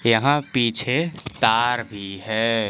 यहां पीछे तार भी है।